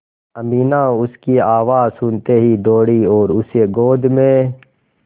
अमीना उसकी आवाज़ सुनते ही दौड़ी और उसे गोद में